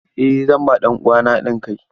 Eh zan ba ɗan uwana haɗin kai.